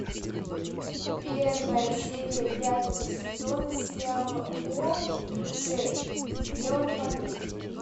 первая серия пятого сезона сериала о джей сделано в америке